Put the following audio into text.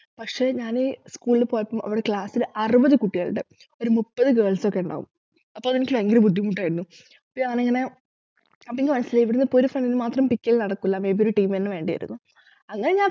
പക്ഷെ ഞാന് school ൽ പോയപ്പോ അവിടെ class ലു അറുപത് കുട്ടികളുണ്ട് ഒരു മുപ്പത് girls ഒക്കെയുണ്ടാവും അപ്പൊ അതെനിക്ക് ഭയങ്കര ബുദ്ധിമുട്ടായിരുന്നു അപ്പൊ ഞാനിങ്ങനെ അപ്പൊ എനിക്ക് മനസിലായി ഇവിടെയിപ്പോ ഒരു friend മാത്രം pick ചെയ്തു നടക്കൂല may be ഒരു team ന്നെ വേണ്ടിവരുംന്നു അങ്ങനെ ഞാൻ